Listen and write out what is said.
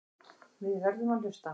Við verðum að hlusta.